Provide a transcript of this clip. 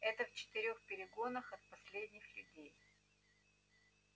это в четырёх перегонах от последних людей